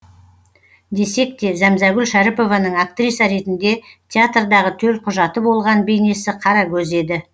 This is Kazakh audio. десек те зәмзәгүл шәріпованың актриса ретінде театрдағы төлқұжаты болған бейнесі қарагөз еді